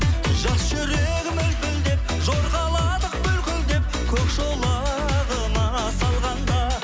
жас жүрегім лүпілдеп жорғаладық бүлкілдеп көк шолағыма салғанда